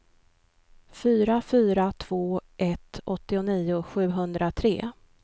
fyra fyra två ett åttionio sjuhundratre